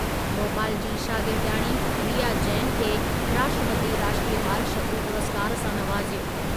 भोपाल जी शागिर्दियाणी रिया जैन खे राष्ट्रपतीअ राष्ट्रीयु ॿाल शक्ती पुरस्कारु सां नवाज़ियो।